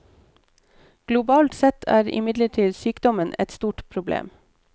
Globalt sett er imidlertid sykdommen et stort problem.